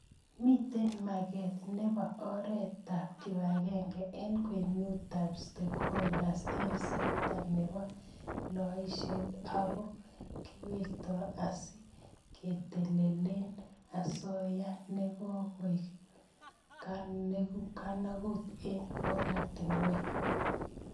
Mitei mageet nebo oretab kibagenge eng kwenutab stakeholders eng sekta nebo loiseet ako kiwato asi ketelelel asoya ne kikoek kanaguut eng oratinweek.